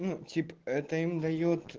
ну тип это им даёт